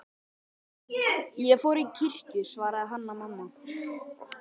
Ég fór í kirkju, svaraði Hanna-Mamma.